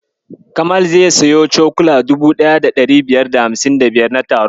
Kamal zai siyi cokula 1555 na taron.